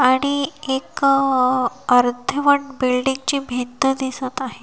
आणि एक अर्धवट बिल्डिंग ची भिंत दिसत आहे.